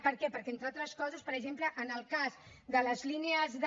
per què perquè entre altres coses per exemple en el cas de les línies de